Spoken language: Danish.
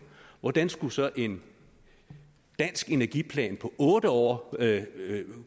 hvordan skulle så en dansk energiplan for otte år